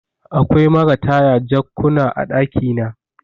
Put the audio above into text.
Akwai marataya jakkuna a ɗakina